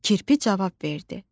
Kirpi cavab verdi: